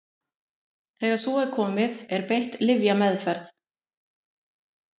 þegar svo er komið er beitt lyfjameðferð